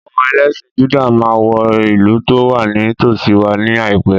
Àwọn ẹlẹ́sìn Júdà máa wọ ìlú tó wà ní tòsíi wa ní àìpé.